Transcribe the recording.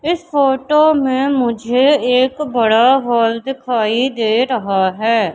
इस फोटो में मुझे एक बड़ा हॉल दिखाई दे रहा है।